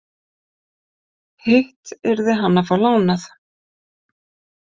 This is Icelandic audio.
Hitt yrði hann að fá lánað.